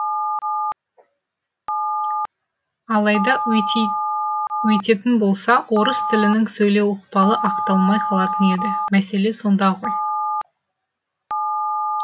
алайда өйтетін болса орыс тілінің сөйлеу ықпалы ақталмай қалатын еді мәселе сонда ғой